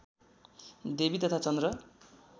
देवी तथा चन्द्र